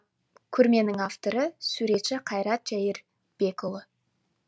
көрменің авторы суретші қайрат жәйірбекұлы